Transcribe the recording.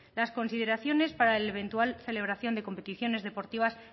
las consideraciones para la eventual celebración de competiciones deportivas